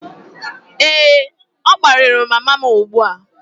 Ee, ọ kparịrị mama m ugbu a